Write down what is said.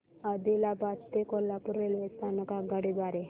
आदिलाबाद ते कोल्हापूर रेल्वे स्थानक आगगाडी द्वारे